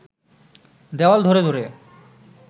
দেওয়াল ধরে ধরে